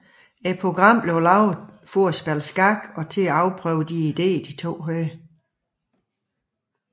Programmet blev lavet til at spille skak og til at afprøve de ideer de to havde